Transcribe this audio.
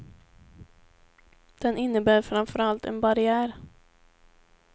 Den innebär framför allt en barriär.